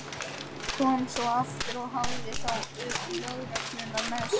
Kom svo aftur og hafði þá lögregluna með sér.